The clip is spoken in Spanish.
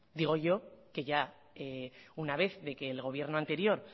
digo yo que ya una vez de que el gobierno anterior